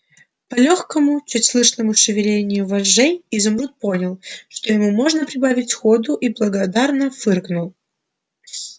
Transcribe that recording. по лёгкому чуть слышному шевелению вожжей изумруд понял что ему можно прибавить ходу и благодарно фыркнул